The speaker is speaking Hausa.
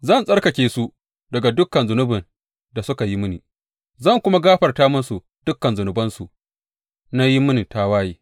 Zan tsarkake su daga dukan zunubin da suka yi mini zan kuma gafarta musu dukan zunubansu na yin mini tawaye.